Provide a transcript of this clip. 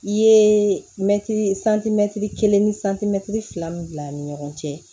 I ye mɛtiri kelen ni san timɛtiri fila min bila ni ɲɔgɔn cɛ